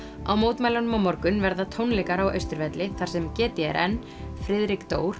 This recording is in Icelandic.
á mótmælunum á morgun verða tónleikar á Austurvelli þar sem g d r n Friðrik